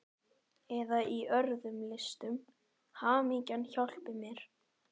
Eða í öðrum listum, hamingjan hjálpi mér!